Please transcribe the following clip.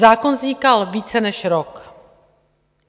Zákon vznikal více než rok.